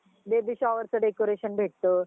baby shower च decoration भेटतं